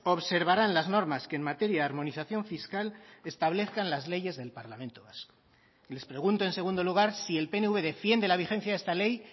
observarán las normas que en materia de armonización fiscal establezcan las leyes del parlamento vasco les pregunto en segundo lugar si el pnv defiende la vigencia de esta ley